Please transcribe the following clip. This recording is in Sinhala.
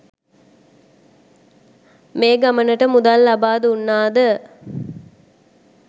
මේ ගමනට මුදල් ලබා දුන්නාද?